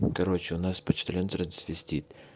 короче у нас почтальон трансвестит